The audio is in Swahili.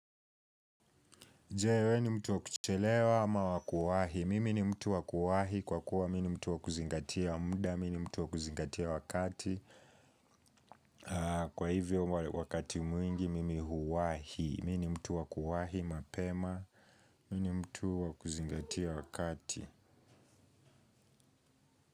Je we ni mtu wa kuchelewa ama wa kuwahi, mimi ni mtu wa kuwahi kwa kuwa mi ni mtu wa kuzingatia muda, mi ni mtu wa kuzingatia wakati. Kwa hivyo wakati mwingi mimi huwahi, mi ni mtu wa kuwahi mapema, mi ni mtu wa kuzingatia wakati.